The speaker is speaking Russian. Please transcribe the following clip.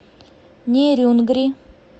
нерюнгри